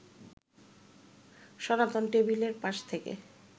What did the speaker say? সনাতন টেবিলের পাশ থেকে